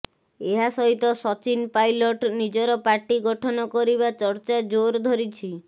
ଏହା ସହିତ ସଚିନ ପାଇଲଟ୍ ନିଜର ପାର୍ଟି ଗଠନ କରିବା ଚର୍ଚ୍ଚା ଜୋର ଧରିଛି